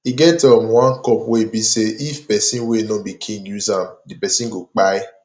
e get um one cup wey be say if person wey no be king use am the person go kpai